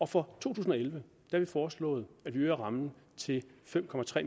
for to tusind og elleve har vi foreslået at vi øger rammen til fem